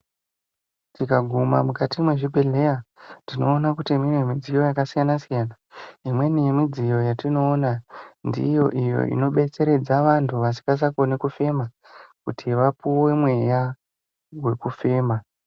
Tikaguma mukati mwezvibhedhlera tinoona kuti mune midziyo yakasiyana siyana. Imweni yemidziyo yatinoona ndiyo iyo inodetseredza vanhu kusisakoni kufema kuti vapuwe mweya wekufema.